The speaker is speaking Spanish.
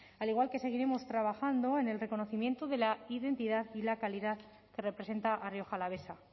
al igual que seguiremos trabajando en el reconocimiento de la identidad y la calidad que representa a rioja alavesa